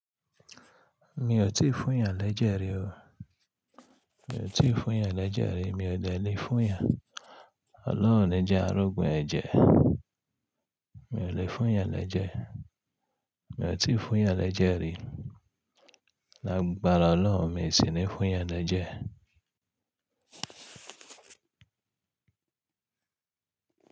Mi ò tíì fún yàn lẹ́jẹ̀ rí o. Mi ò tíì fún yàn lẹ́jẹ̀ rí, mi ò dẹ lè fún yàn. Ọlọ́run o ní jẹ́ arógun ẹ̀jẹ̀. Mi ò lè fún yàn lẹ́jẹ̀. Mi ò tíì fún yàn lẹ́jẹ̀ rí. Lágbára Ọlọ́run, mi sì ní fún yàn lẹ́jẹ̀.